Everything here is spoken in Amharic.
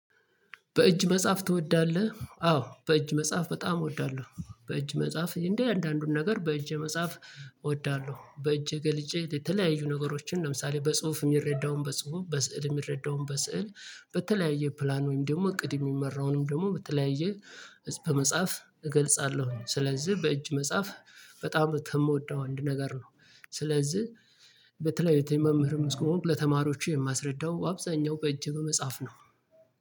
በእጅ መጻፍ ትወዳለህ? አዎ በእጅ መጻፍ በጣም እወዳለሁ። በእጅ መጻፍ እያንዳንዱን ነገር በእጄ መጻፍ እወዳለሁ፤ በእጄ ገልጬ የተለያዩ ነገሮችን ለምሳሌ፦ በጽሁፍ የሚረዳውን በጽሁፍ፣ በስዕል የሚረዳውን በስዕል በተለያየ ፕላን ወይም ደግሞ እቅድ የሚመራውንም ደግሞ በተለያየ በመጻፍ እገልጻለሁ። ስለዚህ በእጅ መጻፍ በጣም ከምወደው አንድ ነገር ነው፤ ስለዚህ በተለይ መምህርም ስለሆንኩ ለተማሪዎቼ የማስረዳው በአብዛኛው በእጄ በመጻፍ ነው።